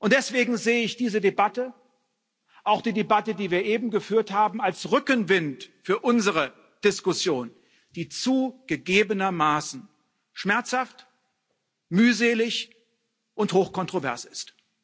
Deswegen sehe ich diese Debatte auch die Debatte, die wir eben geführt haben als Rückenwind für unsere Diskussion, die zugegebenermaßen schmerzhaft, mühselig und hoch kontrovers ist.